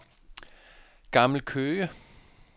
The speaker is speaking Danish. Gammel Køge